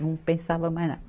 Não pensava mais nada.